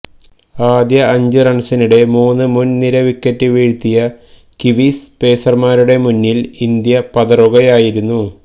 ആദ്യ അഞ്ച് റൺസിനിടെ മൂന്ന് മുൻ നിര വിക്കറ്റ് വീഴ്ത്തിയ കീവീസ് പേസർമാരുടെ മുന്നിൽ ഇന്ത്യ പതറുകയായിരുന്നു